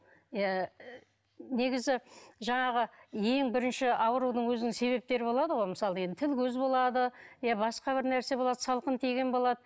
иә негізі жаңағы ең бірінші аурудың өзінің себептері болады ғой мысалы енді тіл көз болады иә басқа бір нәрсе болады салқын тиген болады